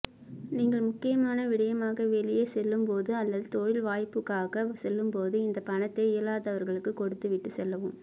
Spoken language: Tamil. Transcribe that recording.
நீங்கள் முக்கியமான விடயமாக வெளியே செல்லும்போது அல்லது தொழில் வாய்ப்புக்காக செல்லும்போது இந்த பணத்தை இயலாதவர்களுக்கு கொடுத்து விட்டு செல்லவும்